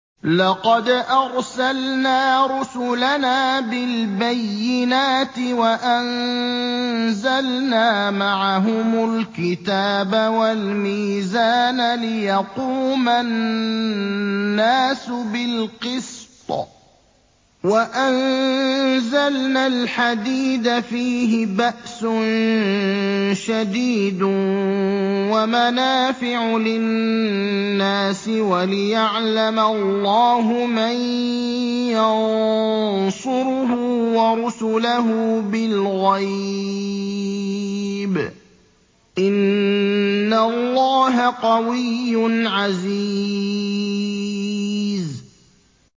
لَقَدْ أَرْسَلْنَا رُسُلَنَا بِالْبَيِّنَاتِ وَأَنزَلْنَا مَعَهُمُ الْكِتَابَ وَالْمِيزَانَ لِيَقُومَ النَّاسُ بِالْقِسْطِ ۖ وَأَنزَلْنَا الْحَدِيدَ فِيهِ بَأْسٌ شَدِيدٌ وَمَنَافِعُ لِلنَّاسِ وَلِيَعْلَمَ اللَّهُ مَن يَنصُرُهُ وَرُسُلَهُ بِالْغَيْبِ ۚ إِنَّ اللَّهَ قَوِيٌّ عَزِيزٌ